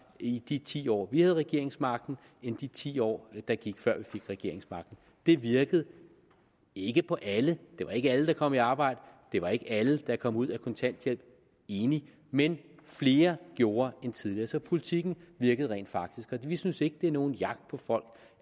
i de ti år vi havde regeringsmagten end i de ti år der gik før vi fik regeringsmagten det virkede ikke på alle det var ikke alle der kom i arbejde det var ikke alle der kom ud af kontanthjælpen enig men flere gjorde end tidligere så politikken virkede rent faktisk og vi synes ikke det er nogen jagt på folk